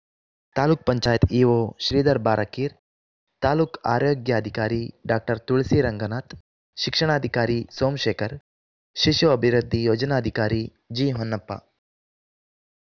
taluk panchayat EO Sridhar ಬಾರಕೀರ್‌ taluk ಆರೋಗ್ಯಾಧಿಕಾರಿ doctor ತುಳಸೀ ರಂಗನಾಥ ಶಿಕ್ಷಣಾಧಿಕಾರಿ ಸೋಮಶೇಖರ್‌ ಶಿಶು ಅಭಿವೃದ್ಧಿ ಯೋಜನಾಧಿಕಾರಿ ಜಿಹೊನ್ನಪ್ಪ